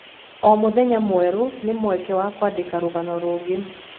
O mũthenya mwerũ nĩ mweke wa kwandĩka rũgano rũngĩ.